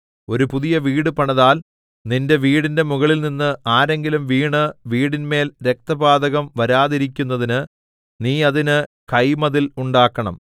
ഒരു പുതിയ വീട് പണിതാൽ നിന്റെ വീടിന്റെ മുകളിൽനിന്ന് ആരെങ്കിലും വീണ് വീടിന്മേൽ രക്തപാതകം വരാതിരിക്കുന്നതിന് നീ അതിന് കൈമതിൽ ഉണ്ടാക്കണം